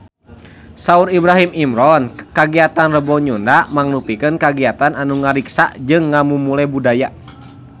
Saur Ibrahim Imran kagiatan Rebo Nyunda mangrupikeun kagiatan anu ngariksa jeung ngamumule budaya Sunda